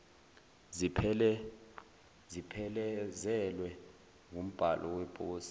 ziphelezelwe wumbhalo weposi